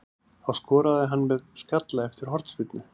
Það skoraði hann með skalla eftir hornspyrnu.